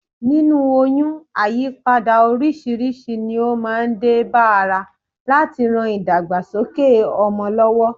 Nínú oyún, àyípadà oríṣiríṣi ni ó máa ń dé bá ara láti rán ìdàgbàsókè ọmọ lọ́wọ́